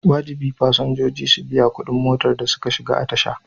Wajibi fasinjoji su biya kuɗin motar da suka shiga a tasha.